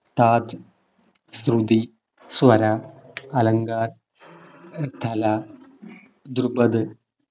താധ് ശ്രുതി സ്വര അലങ്കാർ ധലാ ദ്രുപദ്